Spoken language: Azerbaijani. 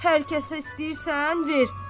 Hər kəsə istəyirsən ver.